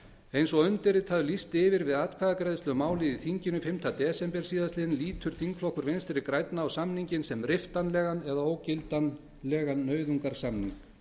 eins og undirritaður lýsti yfir við atkvæðagreiðslu um málið í þinginu fimmta desember síðastliðinn lítur þingflokkur vinstri grænna á samninginn sem riftanlegan eða ógildanlegan nauðungarsamning